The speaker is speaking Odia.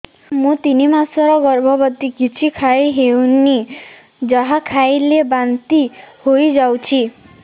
ମୁଁ ତିନି ମାସର ଗର୍ଭବତୀ କିଛି ଖାଇ ହେଉନି ଯାହା ଖାଇଲେ ବାନ୍ତି ହୋଇଯାଉଛି